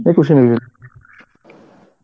একুশে বের হয়েসী